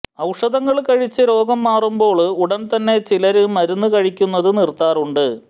ഔഷധങ്ങള് കഴിച്ച് രോഗം മാറുമ്പോള് ഉടനെ തന്നെ ചിലര് മരുന്നുകള് കഴിക്കുന്നത് നിര്ത്താറുണ്ട്